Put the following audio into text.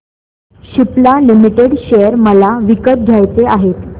Cipla limited share मला विकत घ्यायचे आहेत